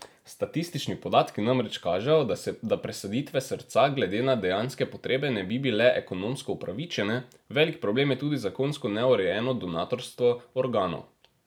Statistični podatki namreč kažejo, da presaditve srca glede na dejanske potrebe ne bi bile ekonomsko upravičene, velik problem je tudi zakonsko neurejeno donatorstvo organov.